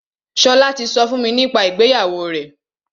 Ṣọlá ti sọ fún mi nípa ìgbéyàwó rẹ̀.